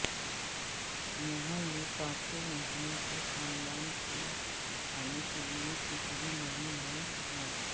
یہاں یہ پانچویں مہینے کے خاندان کے کھانے کے لئے کچھ بھی نہیں ہے ہے